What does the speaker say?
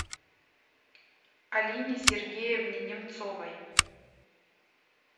алине сергеевне немцовой